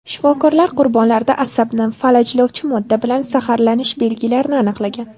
Shifokorlar qurbonlarda asabni falajlovchi modda bilan zaharlanish belgilarini aniqlagan.